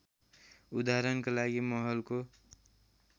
उदाहरणका लागि महलको